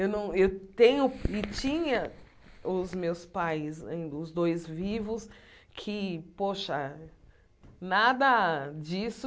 Eu não eu tenho e tinha os meus pais ainda, os dois vivos, que, poxa, nada disso